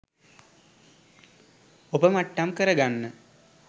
ඔපමට්ටම් කරගන්න